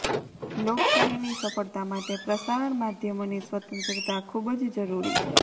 લોકશાહીની સફળતા માટે પ્રસારણ માધ્યમોની સ્વતંત્રતા ખૂબ જ જરૂરી છે